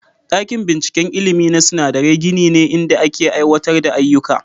Dakin binciken ilimi na sinadarai gini ne inda ake aiwatar da ayyuka.